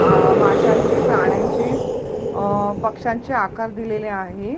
माशांचे प्राण्यांचे अ पक्षांचे आकार दिलेले आहे.